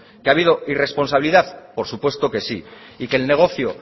que ha habido irresponsabilidad por supuesto que sí y que el negocio